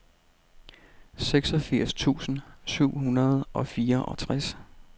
seksogfirs tusind syv hundrede og fireogtres